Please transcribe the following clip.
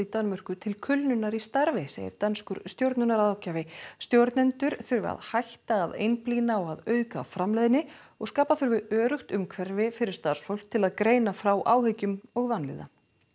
Danmörku til kulnunar í starfi segir danskur stjórnunarráðgjafi stjórnendur þurfi að hætta að einblína á aukna framleiðni og skapa þurfi öruggt umhverfi fyrir starfsfólk til að greina frá áhyggjum og vanlíðan